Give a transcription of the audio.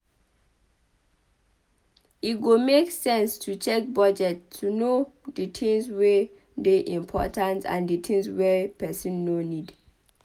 E go make sense to check budget to know di tins wey dey important and di tins wey person no need